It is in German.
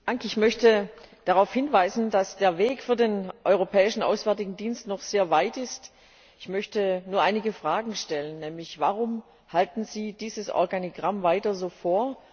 Frau Präsidentin! Ich möchte darauf hinweisen, dass der Weg für den Europäischen Auswärtigen Dienst noch sehr weit ist. Ich möchte nur einige Fragen stellen Warum halten Sie dieses Organigramm weiter so vor?